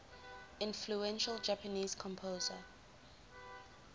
influential japanese composer